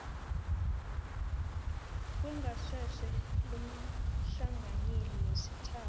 kwengasese lomhlanganyeli wesithathu